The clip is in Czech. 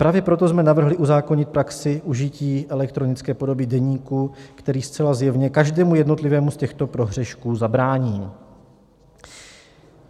Právě proto jsme navrhli uzákonit praxi užití elektronické podoby deníku, který zcela zjevně každému jednotlivému z těchto prohřešků zabrání.